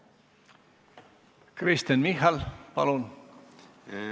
Kristen Michal, palun!